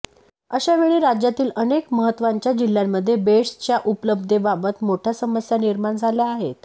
अशावेळी राज्यातील अनेक महत्त्वाच्या जिल्ह्यांमध्ये बेड्सच्या उपलब्धतेबाबत मोठ्या समस्या निर्माण झल्या आहेत